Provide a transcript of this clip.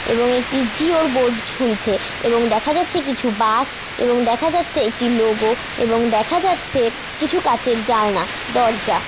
এবং এটি জিওর বোর্ড ঝুলছে এবং দেখা যাচ্ছে কিছু বাস এবং দেখা যাচ্ছে একটি লোগো এবং দেখা যাচ্ছে কিছু কাচের জানলা দরজা।